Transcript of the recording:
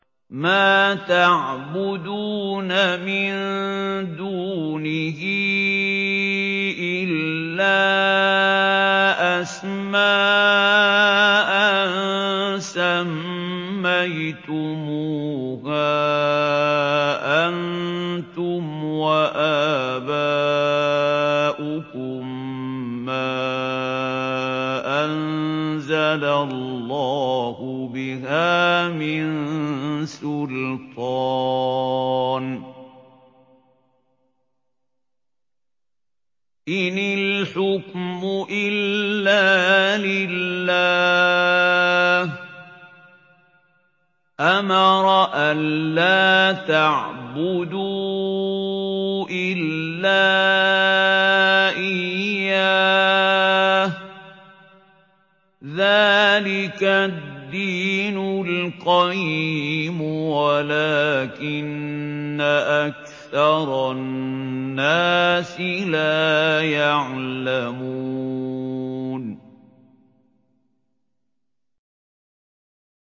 مَا تَعْبُدُونَ مِن دُونِهِ إِلَّا أَسْمَاءً سَمَّيْتُمُوهَا أَنتُمْ وَآبَاؤُكُم مَّا أَنزَلَ اللَّهُ بِهَا مِن سُلْطَانٍ ۚ إِنِ الْحُكْمُ إِلَّا لِلَّهِ ۚ أَمَرَ أَلَّا تَعْبُدُوا إِلَّا إِيَّاهُ ۚ ذَٰلِكَ الدِّينُ الْقَيِّمُ وَلَٰكِنَّ أَكْثَرَ النَّاسِ لَا يَعْلَمُونَ